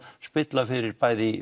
spilla fyrir bæði í